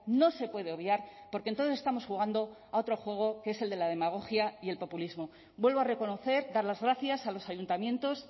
no se puede obviar porque entonces estamos jugando a otro juego que es el de la demagogia y el populismo vuelvo a reconocer dar las gracias a los ayuntamientos